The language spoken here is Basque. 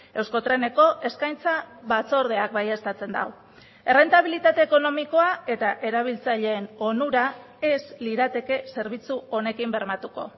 euskotreneko eskaintza batzordeak baieztatzen du errentabilitate ekonomikoa eta erabiltzaileen onura ez lirateke zerbitzu honekin bermatuko